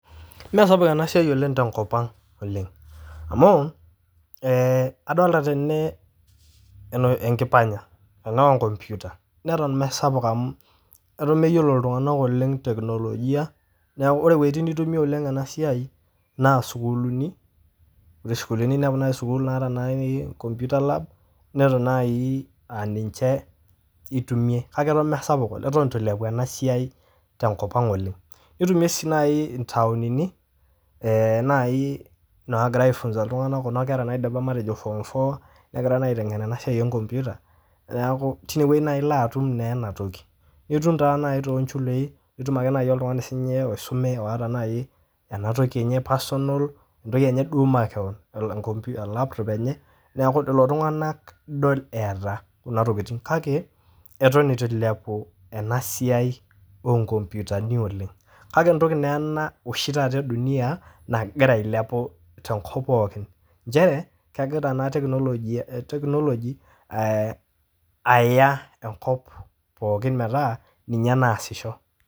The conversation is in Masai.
Meesapuk ena siai oleng' tenkop ang' oleng' amu ee adolta tene eno enkipanya enaa o nkomputa, neton mesapuk amu eton meyiolo iltung'anak oleng' teknolojia, neeku ore woitin nitumie oleng' ena siai naa sukuuluni eti sukuuluni inepu nai sukuul naata nai komputa lab, neton nai aa ninje itumie, kake eton mesapuk eton itu ilepu ena siai tenkop ang' oleng'. Nitumie sii nai intaonini ee nai naagira aifunza iltung'anak kuna kera matejo naidipa form four, negira naa aiteng'en ena sia e nkomputa, neeku tine wuei naa ilo atum naa ena toki. Nitum taa nai too nchulei, nitum ake nai oltung'ani sinye oisume oata nai ena toki enye personal entoki enye duo makeon e nkompu e laptop enye, neeku lelo tung'anak idol eeta kuna tokitin kake eton itu ilepu ena siai oo nkomputani oleng'. Kake entoki naa ena oshi taata e dunia nagira ailepu tenkop pokin, nchere kegira ena teknoloji ee aaya enkop pookin metaa ninye naasisho.